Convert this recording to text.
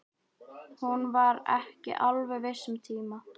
Hún var ekki alveg viss um tíma.